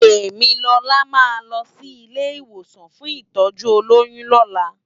Temilola má lò si ilé iwósàn fún itòjú ólóyùn lòlá